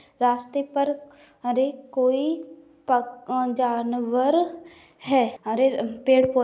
रास्ते पर हरेक कोई पक जानवर है। हरे अ पेड़-पौधे --